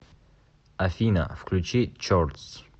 афина включи чордс